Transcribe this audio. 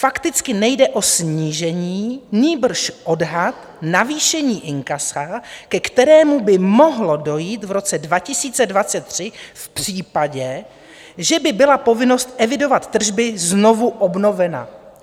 Fakticky nejde o snížení, nýbrž odhad navýšení inkasa, ke kterému by mohlo dojít v roce 2023 v případě, že by byla povinnost evidovat tržby znovu obnovena."